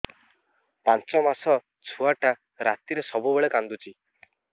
ପାଞ୍ଚ ମାସ ଛୁଆଟା ରାତିରେ ସବୁବେଳେ କାନ୍ଦୁଚି